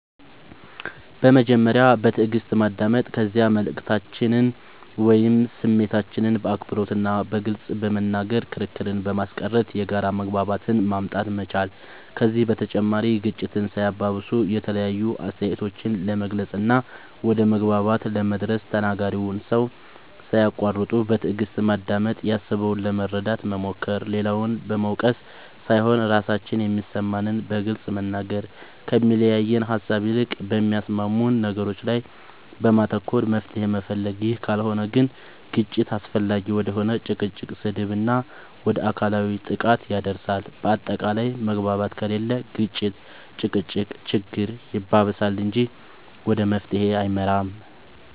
በመጀመሪያ በትእግስት ማዳመጥ ከዚያ መልእክታችንን ወይም ስሜታችንን በአክብሮት እና በግልፅ በመናገር ክርክርን በማስቀረት የጋራ መግባባትን ማምጣት መቻል ከዚህ በተጨማሪ ግጭትን ሳያባብሱ የተለያዩ አስተያየቶችን ለመግለፅ እና ወደ መግባባት ለመድረስ ተናጋሪውን ሰው ሳያቁዋርጡ በትእግስት ማዳመጥ ያሰበውን ለመረዳት መሞከር, ሌላውን በመውቀስ ሳይሆን ራሳችን የሚሰማንን በግልፅ መናገር, ከሚያለያየን ሃሳብ ይልቅ በሚያስማሙን ነገሮች ላይ በማተኮር መፍትሄ መፈለግ ይህ ካልሆነ ግን ግጭት አላስፈላጊ ወደ ሆነ ጭቅጭቅ, ስድብ እና ወደ አካላዊ ጥቃት ያደርሳል በአታቃላይ መግባባት ከሌለ ግጭት(ጭቅጭቅ)ችግር ያባብሳል እንጂ ወደ መፍትሄ አይመራም